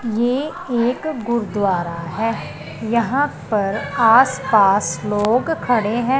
ये एक गुरुद्वारा है यहां पर आसपास लोग खड़े है।